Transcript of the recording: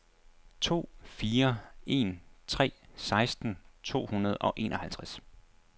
to fire en tre seksten to hundrede og enoghalvtreds